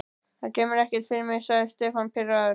Það kemur ekkert fyrir mig sagði Stefán pirraður.